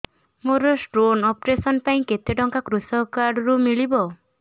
ମୋର stone operation ପାଇଁ କେତେ ଟଙ୍କା କୃଷକ କାର୍ଡ ରୁ ମିଳିବ